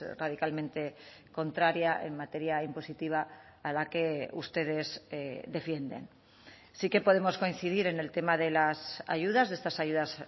radicalmente contraria en materia impositiva a la que ustedes defienden sí que podemos coincidir en el tema de las ayudas de estas ayudas